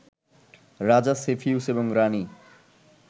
রাজা শেফিউস এবং রানী